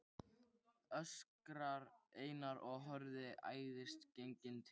öskrar Einar og horfir æðisgenginn til